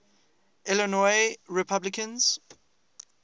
illinois republicans